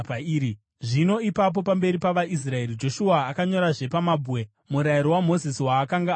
Zvino ipapo, pamberi pavaIsraeri, Joshua akanyorazve pamabwe murayiro waMozisi, waakanga ambonyora.